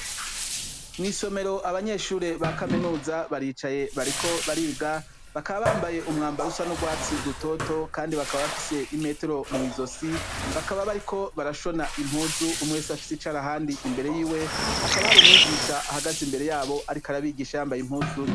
Mw'isomero abanyeshure ba kaminuza baricaye bariko bariga bakabambaye umwambarusa n'urwatsi rutoto, kandi bakaba bafise imetero mw'izo si bakaba bariko barashona impuzu umwese afise icari ahandi imbere yiwe hakaba hari umwigisha ahagaze imbere yabo, ariko arabigisha bambaye impuzu.